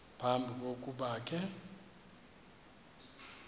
phambi kokuba ke